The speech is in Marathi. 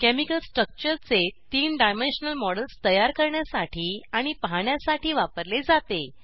केमिकल स्ट्रक्चरचे 3 डायमेंशनल मॉडेल्स तयार करण्यासाठी आणि पाहण्यासाठी वापरले जाते